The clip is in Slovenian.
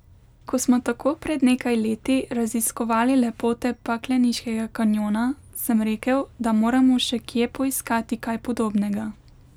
Ko smo tako pred nekaj leti raziskovali lepote pakleniškega kanjona, sem rekel, da moramo še kje poiskati kaj podobnega.